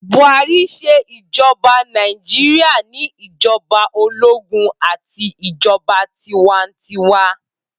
Buhari ṣe ijọba Naijiria ni ijọba ologun ati ijọba tiwantiwa